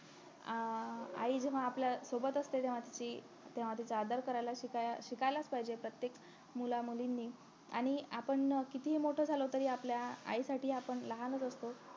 अं आई जेव्हा आपल्या सोबत असते तेव्हा ती तेव्हा तिचा आदर करायला शिका शिकायलाच पाहिजॆ प्रत्येक मुलांमुलींनी आणि आपण किहिती मोठं झालो तरी आपल्या आईसाठी आपण लहानच असतो